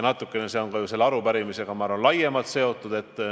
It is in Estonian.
Natukene see on ka ju selle arupärimisega laiemalt seotud.